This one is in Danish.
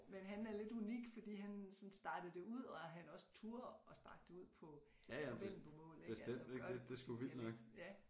Men han er lidt unik fordi han sådan startede det ud og han også turde at starte det ud på vendelbomål ik altså gøre det på sin dialekt ja